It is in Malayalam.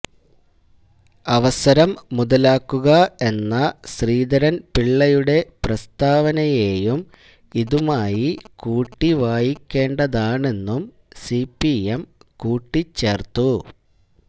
അവസരം മുതലാക്കുക എന്ന ശ്രീധരന്പിള്ളയുടെ പ്രസ്താവനയേയും ഇതുമായി കൂട്ടിവായിക്കേണ്ടതാണെന്നും സിപിഎം കൂട്ടിച്ചേര്ത്തു